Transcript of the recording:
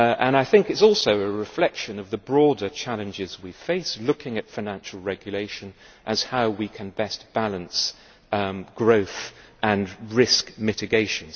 It is also a reflection of the broader challenges we face in looking at financial regulation as to how we can best balance growth and risk mitigation.